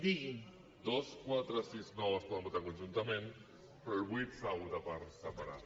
dos quatre sis nou es poden votar conjuntament però el vuit s’ha de votar per separat